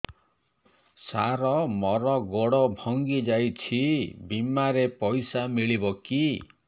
ସାର ମର ଗୋଡ ଭଙ୍ଗି ଯାଇ ଛି ବିମାରେ ପଇସା ମିଳିବ କି